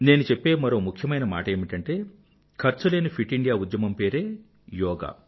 నేను చెప్పే మరో ముఖ్యమైన మాట ఏమిటంటే ఖర్చులేని ఫిట్ ఇండియా ఉద్యమం పేరే యోగా